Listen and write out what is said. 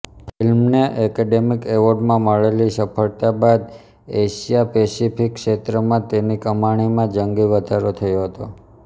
ફિલ્મને એકેડેમી એવોર્ડમાં મળેલી સફળતા બાદ એશિયાપેસિફીક ક્ષેત્રમાં તેની કમાણીમાં જંગી વધારો થયો હતો